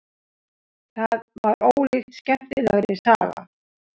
Það var ólíkt skemmtilegri saga.